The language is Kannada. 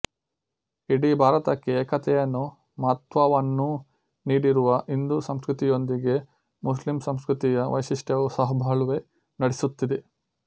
ಇಡೀ ಭಾರತಕ್ಕೆ ಏಕತೆಯನ್ನೂ ಮಹತ್ತ್ವವನ್ನೂ ನೀಡಿರುವ ಹಿಂದೂ ಸಂಸ್ಕೃತಿಯೊಂದಿಗೆ ಮುಸ್ಲಿಂ ಸಂಸ್ಕೃತಿಯ ವೈಶಿಷ್ಟ್ಯವೂ ಸಹಬಾಳ್ವೆ ನಡೆಸುತ್ತಿದೆ